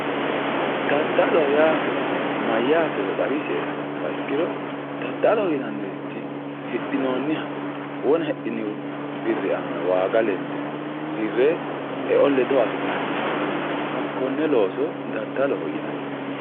daddalo yaa mayyaatero xawisie yoottoha ikkiro daddaloho yinannirichi hidhinoonniha wona hidhini birri aana waaga lende hirre e"o ledo afi'nanniha hakkonne looso daddaloho yinanni.